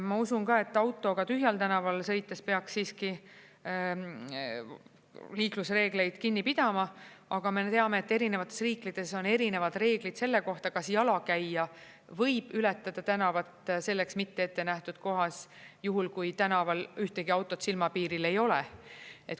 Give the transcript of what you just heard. Ma usun ka, et autoga tühjal tänaval sõites peaks siiski liiklusreegleid kinni pidama, aga me teame, et erinevates riikides on erinevad reeglid selle kohta, kas jalakäija võib ületada tänavat selleks mitte ette nähtud kohas, juhul kui tänaval ühtegi autot silmapiiril ei ole.